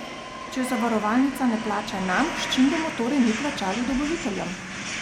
Če zavarovalnica ne plača nam, s čim bomo torej mi plačali dobaviteljem?